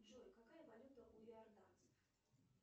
джой какая валюта у иорданцев